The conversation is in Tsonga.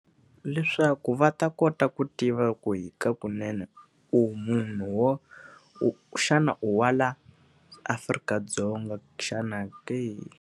Leswaku va ta kota ku tiva ku hi kakunene u munhu xana u wa laha Afrika-Dzonga xana ke?